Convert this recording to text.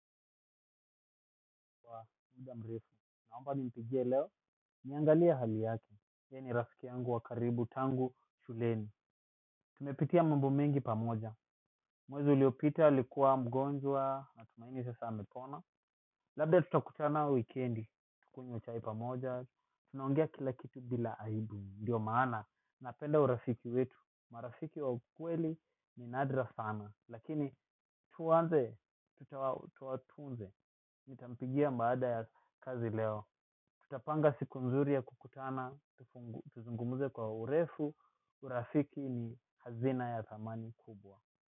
Kwa muda mrefu, naomba nimpigie leo, niangalie hali yake, ye ni rafiki yangu wa karibu tangu shuleni. Tumepitia mambo mengi pamoja, mwezi uliopita alikuwa mgonjwa natumaini sasa amepona. Labda tutakutana wikendi, tukunywe chai pamoja, tunaongea kila bila aibu, ndio maana, napenda urafiki wetu, marafiki wa ukweli ni nadra sana, lakini tuanze, tuwatunze. Nitampigia baada ya kazi leo. Tutapanga siku nzuri ya kukutana. Tuzungumuze kwa urefu. Urafiki ni hazina ya thamani kubwa.